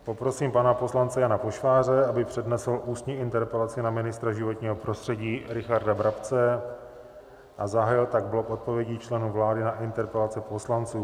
Poprosím pana poslance Jana Pošváře, aby přednesl ústní interpelaci na ministra životního prostředí Richarda Brabce, a zahájil tak blok odpovědí členů vlády na interpelace poslanců.